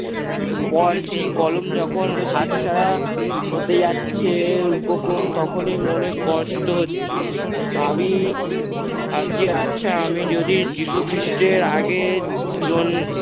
পর যখন সেই কলম হাতছাড়া হতে যাচ্ছে উপক্রম তখনই মনে কষ্ট হচ্ছে। ভাবি ভাবছি আচ্ছা আমি যদি যীশু খ্রিস্টের আগে জন~